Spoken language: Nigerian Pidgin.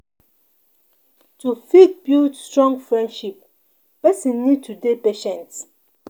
To fit build strong friendship person need to dey patient